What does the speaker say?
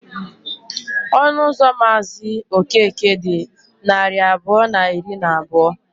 Ọnụ ụlọ Mazị Okeke dị narị abụọ na iri na abụọ.